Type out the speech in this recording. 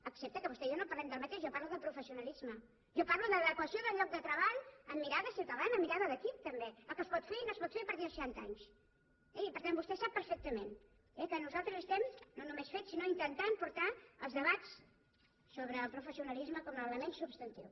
excepte que vostè i jo no parlem del mateix jo parlo de professionalisme jo parlo d’adequació del lloc de treball amb mirada ciutadana amb mirada d’equip també el que es pot fer i no es pot fer a partir de seixanta anys eh i per tant vostè sap perfectament que nosaltres estem no només fent sinó intentant portar els debats sobre el professionalisme com a l’element substantiu